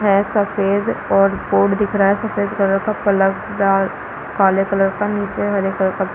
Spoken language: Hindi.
है सफ़ेद और बोर्ड दिख रहा है सफ़ेद कलर का प्लग डाल काले कलर का नीचे हरे कलर का --